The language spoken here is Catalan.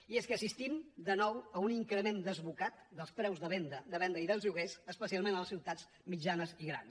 i és que assistim de nou a un increment desbocat dels preus de venda de venda i dels lloguers especialment a les ciutats mitjanes i grans